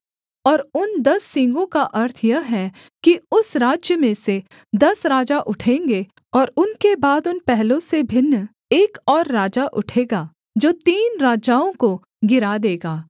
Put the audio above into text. और उन दस सींगों का अर्थ यह है कि उस राज्य में से दस राजा उठेंगे और उनके बाद उन पहलों से भिन्न एक और राजा उठेगा जो तीन राजाओं को गिरा देगा